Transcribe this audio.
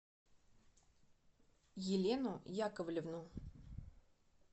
елену яковлевну